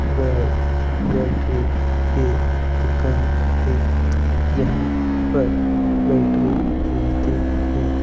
Battery की दुकान एक यहां पर बैटरी मिलती है।